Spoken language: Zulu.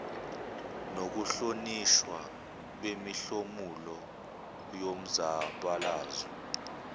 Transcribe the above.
nokuhlonishwa kwemihlomulo yomzabalazo